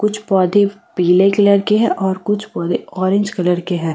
कुछ पौधे पीले कलर के हैं और कुछ बोले ऑरेंज कलर के हैं।